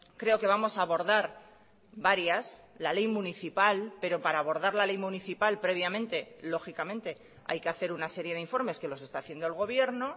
creo que vamos a abordar varias la ley municipal pero para abordar la ley municipal previamente lógicamente hay que hacer una serie de informes que los está haciendo el gobierno